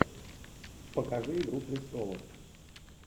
покажи игру престолов